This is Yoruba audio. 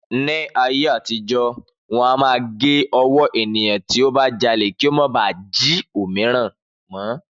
Ni ayé àtijó, wọn máa ń gé ọwọ́ ènìyàn tó bá jalè kí ó má bà á jí òmíràn mọ́